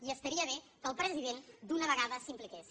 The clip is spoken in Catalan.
i estaria bé que el president d’una vegada s’hi impliqués